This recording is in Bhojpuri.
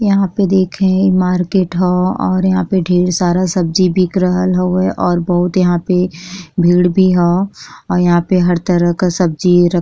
यहाँ पे देखे मार्केट ह और यहाँ पे ढेर सारा सब्जी बिक रहल हउए और बहुत यहाँ पे भीड़ भी ह यहाँ पे हर तरह का सब्जी र --